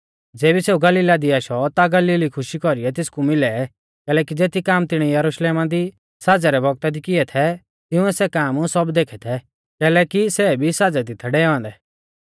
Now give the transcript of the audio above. ज़ेबी सेऊ गलीला दी आशौ ता गलीली खुशी कौरीऐ तेसकु मिलै कैलैकि ज़ेती काम तिणीऐ यरुशलेमा दी साज़ै रै बौगता दी किऐ थै तिंउऐ सै काम सब देखै थै कैलैकि सै भी साज़ै दी थै डै औन्दै